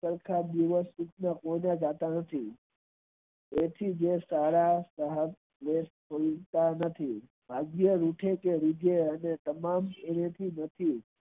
જાતા નથી એના થી સારા અને તમામ